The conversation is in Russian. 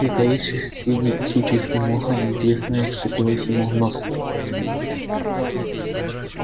притаившись среди сучьев и моха неизвестное вцепилось ему в нос